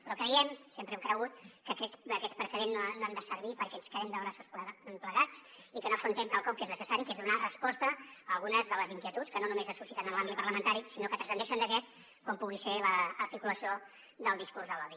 però creiem sempre hem cregut que aquests precedents no han de servir perquè ens quedem de braços plegats i que no afrontem quelcom que és necessari que és donar resposta a algunes de les inquietuds que no només es susciten en l’àmbit parlamentari sinó que transcendeixen d’aquest com pugui ser l’articulació del discurs de l’odi